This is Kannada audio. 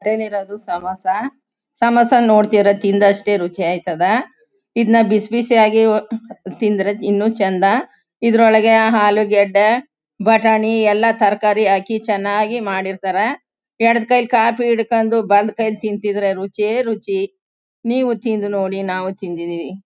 ಕೈಲ್ ಇರದು ಸಮೋಸ ಸಮೋಸ ನೋಡ್ತಿದ್ರೆ ತಿಂದಷ್ಟೇ ರುಚಿ ಆಯ್ತದ. ಇದ್ನ ಬಿಸ್ಬಿಸಿಯಾಗೆ ತಿಂದ್ರೆ ಇನ್ನು ಚಂದ. ಇದ್ರೂ ಒಳಗಡೆ ಆಲೂಗಡ್ಡ ಬಟಾಣಿ ಎಲ್ಲ ತರಕಾರಿ ಹಾಕಿ ಚನ್ನಾಗಿ ಮಾಡಿರ್ತಾರೆ. ಎಡ್ ಕೈಲ್ ಕಾಪಿ ಇಡ್ಕೊಂಡು ಬಲ್ ಕೈಲ್ಲಿ ತಿಂದಿದ್ರೆ ರುಚಿಯೇ ರುಚಿ. ನೀವು ತಿಂದ್ ನೋಡಿ ನಾವು ತಿಂದ್ ಇದೀವಿ.